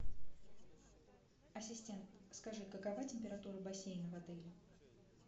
ассистент скажи какова температура бассейна в отеле